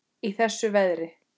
Í þessu veðri?